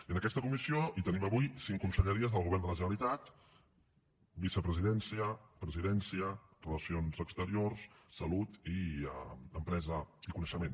i en aquesta comissió hi tenim avui cinc conselleries del govern de la generalitat vicepresidència presidència relacions exteriors salut i empresa i coneixement